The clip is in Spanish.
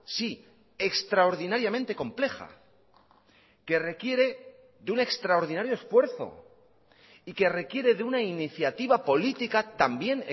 sí extraordinariamente compleja que requiere de un extraordinario esfuerzo y que requiere de una iniciativa política también